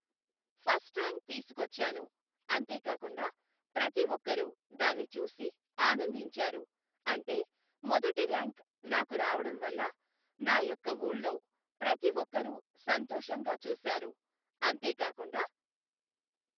First rank తీసుకొచ్చాను, అంతే కాకుండా ప్రతి ఒక్కరు దాన్ని చూసి ఆనందించారు. అంటే మొదటి ర్యాంక్ నాకు రావడం వల్ల నా యొక్క ఊళ్ళో ప్రతి ఒక్కరు సంతోషంగా చూశారు, అంతే కాకుండా